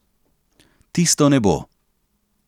Tisto nebo.